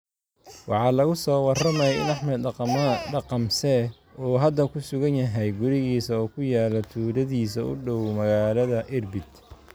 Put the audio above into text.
Waxaa lagu soo warramayaa in Axmed Daqamseh, uu hadda ku sugan yahay gurigiisa oo ku yaalla tuuladiisa u dhow magaalada Irbid.